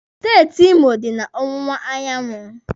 Steeti Imo dị na ọwụwa anyanwụ